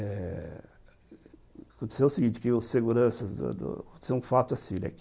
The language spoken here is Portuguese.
Eh... Aconteceu o seguinte, que os seguranças do do... Aconteceu um fato assim, né, que...